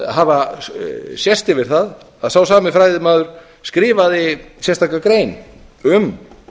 að hafa sést yfir það að sá sami fræðimaður skrifaði sérstaka grein um